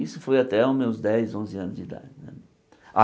Isso foi até os meus dez, onze anos de idade né.